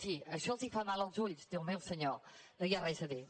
si això els fa mal als ulls déu meu senyor no hi ha res a dir